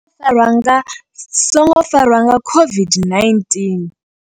songo farwa nga, songo farwa nga COVID-19.